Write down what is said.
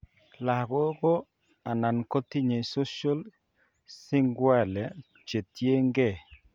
Lagok ko nan kotinye social sequelae che tien gee